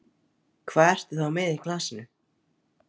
Hvað ertu þá með í glasinu?